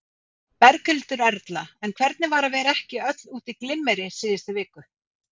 Berghildur Erla: En hvernig var að vera ekki öll út í glimmeri síðustu viku?